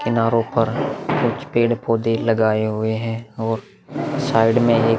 किनारों पर कुछ पेड़-पौधे लगाए हुए हैं और साइड में एक --